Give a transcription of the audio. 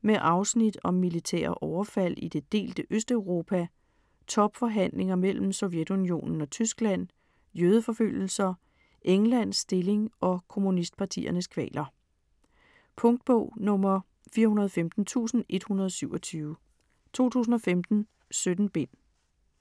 Med afsnit om militære overfald i det delte Østeuropa, topforhandlinger mellem Sovjetunionen og Tyskland, jødeforfølgelser, Englands stilling og kommunistpartiernes kvaler. Punktbog 415127 2015. 17 bind.